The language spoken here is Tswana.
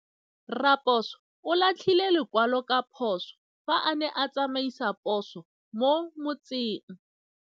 Raposo o latlhie lekwalô ka phosô fa a ne a tsamaisa poso mo motseng.